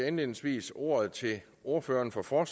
indledningsvis ordet til ordføreren for for